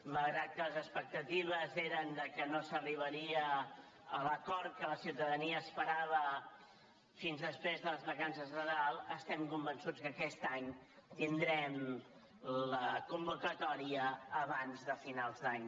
malgrat que les expec·tatives eren que no s’arribaria a l’acord que la ciuta·dania esperava fins després de les vacances de nadal estem convençuts que aquest any tindrem la convoca·tòria abans de finals d’any